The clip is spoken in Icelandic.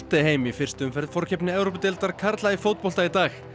heim í fyrstu umferð forkeppni í fótbolta í dag